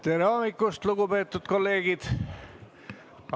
Tere hommikust, lugupeetud kolleegid!